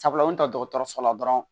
Sabula u bɛ taa dɔgɔtɔrɔso la dɔrɔn